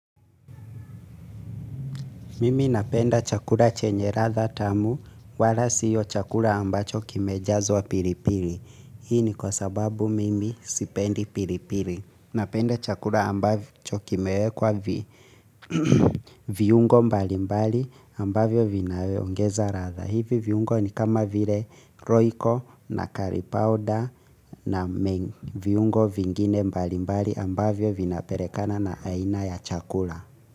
Mimi napenda chakula chenye radha tamu wala siyo chakula ambacho kimejazwa pili pili. Hii ni kwa sababu mimi sipendi pili pili. Napenda chakula ambacho kimewekwa vi viungo mbali mbali ambavyo vinavyo ongeza radha. Hivi viungo ni kama vile roiko na karipauda na meng. Viungo vingine mbali mbali ambavyo vinapele kana na aina ya chakula.